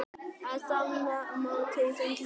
Ég á stefnumót í sundlaugunum.